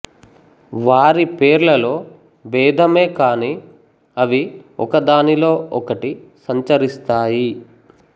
వారి పేర్లలో బేధమే కాని అవి ఒక దానిలో ఒకటి సంచరిస్తాయి